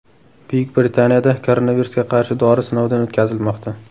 Buyuk Britaniyada koronavirusga qarshi dori sinovdan o‘tkazilmoqda.